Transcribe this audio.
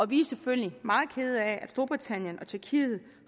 vi selvfølgelig meget kede af at storbritannien og tjekkiet